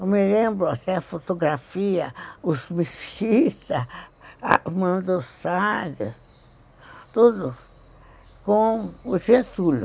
Eu me lembro até a fotografia, os Mesquita, Armando Salles, tudo com o Getúlio.